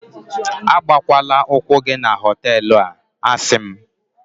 agbakwala ụkwụ gị na họtelu a, a sị m